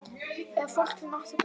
Eða fólk sem átti betra skilið?